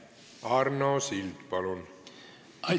Arno Sild, palun!